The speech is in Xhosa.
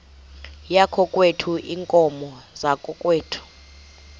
yakokwethu iinkomo zakokwethu